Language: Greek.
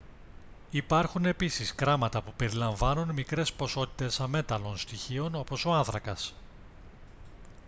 υπάρχουν επίσης κράματα που περιλαμβάνουν μικρές ποσότητες αμέταλλων στοιχείων όπως ο άνθρακας